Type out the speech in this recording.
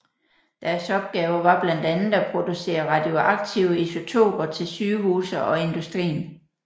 Deres opgaver var blandt andet at producere radioaktive isotoper til sygehuse og industrien